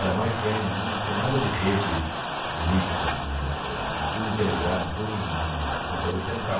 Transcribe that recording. Era MyFrame né, não tinha nada de rede de micro na época, tudo interligado, tudo no no na computador central.